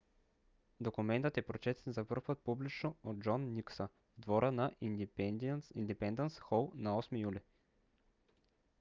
документът е прочетен за пръв път публично от джон никсъ в двора на индипендънс хол на 8 юли